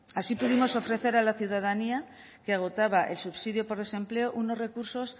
así pudimos ofrecer a la ciudadanía que agotaba el subsidio por el desempleo unos recursos